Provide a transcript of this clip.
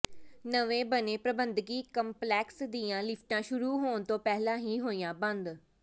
ਨਵੇਂ ਬਣੇ ਪ੍ਰਬੰਧਕੀ ਕੰਪਲੈਕਸ ਦੀਆਂ ਲਿਫ਼ਟਾਂ ਸ਼ੁਰੂ ਹੋਣ ਤੋਂ ਪਹਿਲਾਂ ਹੀ ਹੋਈਆਂ ਬੰਦ